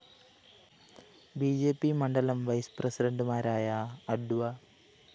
B J P മണ്ഡലം vice പ്രസിഡന്റുമാരായ അഡ്വ